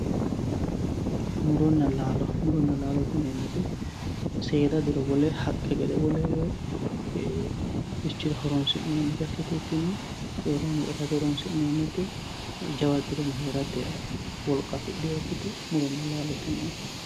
Muronna laalo, muronna laalo yineemmo woyte seeda diro wole haqqe gede wolurichira horonsi'neemmotta ikkitukkinni horonsi'neemmo woyte jawa diro heerate wolqa afidhinokkite.